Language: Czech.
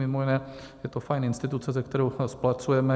Mimo jiné, je to fajn instituce, se kterou spolupracujeme.